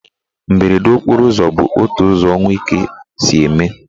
Mberede okporo ụzọ bụ otu ụzọ ọnwụ ike si eme.